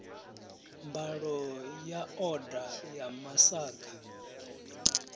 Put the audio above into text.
mbalo ya oda ya masaga